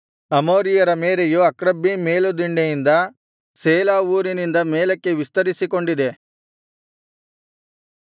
ಅಮೋರಿಯರ ಮೇರೆಯು ಅಕ್ರಬ್ಬೀಮ್ ಮೇಲುದಿಣ್ಣೆಯಿಂದ ಸೇಲಾ ಊರಿನಿಂದ ಮೇಲಕ್ಕೆ ವಿಸ್ತರಿಸಿಕೊಂಡಿದೆ